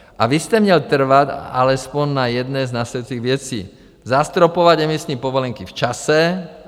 A vy jste měl trvat alespoň na jedné z následcích věcí: Zastropovat emisní povolenky v čase.